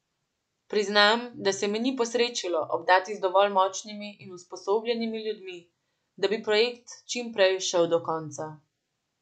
Priznam, da se mi ni posrečilo obdati z dovolj močnimi in usposobljenimi ljudmi, da bi projekt čim prej šel do konca.